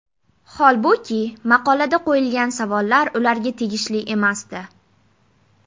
Holbuki, maqolada qo‘yilgan savollar ularga tegishli emasdi.